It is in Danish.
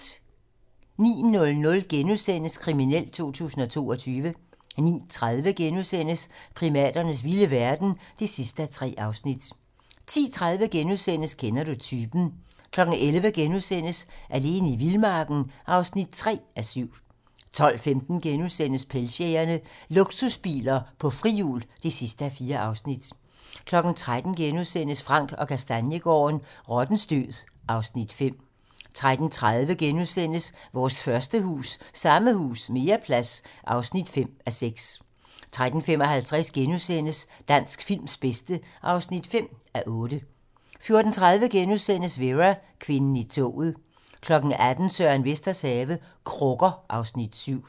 09:00: Kriminelt 2022 * 09:30: Primaternes vilde verden (3:3)* 10:30: Kender du typen? * 11:00: Alene i vildmarken (3:7)* 12:15: Pengejægerne - Luksusbiler på frihjul (4:4)* 13:00: Frank & Kastaniegaarden - Rottens død (Afs. 5)* 13:30: Vores første hus - Samme hus - mere plads (5:6)* 13:55: Dansk films bedste (5:8)* 14:30: Vera: Kvinden i toget * 18:00: Søren Vesters have - Krukker (Afs. 7)